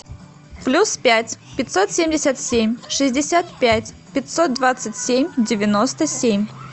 плюс пять пятьсот семьдесят семь шестьдесят пять пятьсот двадцать семь девяносто семь